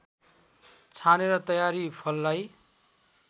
छानेर तयारी फललाई